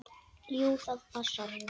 Jú, það passar.